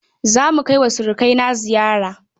Za mu kai wa surukaina ziyara